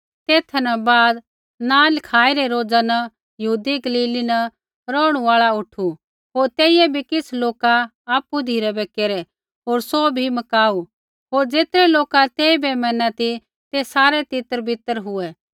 तेथा न बाद नाँ लिखाई रै रोज़ा न यहूदा गलीली न रौहणु आल़ा उठु होर तेइयै बी किछ़ लोका आपु धिराबै केरै होर सौ बी मकाऊ हुआ होर ज़ेतरै लोका तेइबै मैना ती ते सारै तितरबितर हुऐ